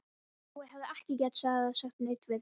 Jói hefði ekki getað sagt neitt við því.